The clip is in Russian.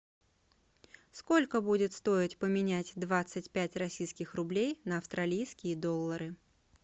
сколько будет стоить поменять двадцать пять российских рублей на австралийские доллары